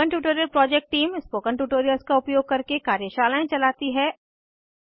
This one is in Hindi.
spoken tutorial project team spoken tutorials का उपयोग करके कार्यशालाएं चलाती है